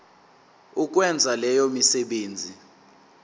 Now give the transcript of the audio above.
ukwenza leyo misebenzi